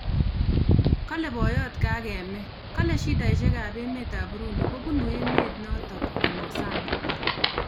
Kale boyot Kagame kole shidaishek ap emet ap Burundi kobunu emet notok ama sang